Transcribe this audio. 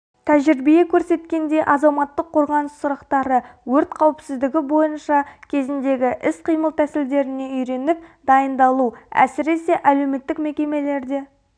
тәжірибе көрсеткендей азаматтық қорғаныс сұрақтары өрт қауіпсіздігі бойынша кезіндегі іс-қимыл тәсілдеріне үйреніп дайындалу әсіресе әлеуметтік мекемелерде